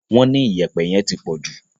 Wọ́n ní Iyẹ̀pẹ̀ yẹn tí pọ̀jù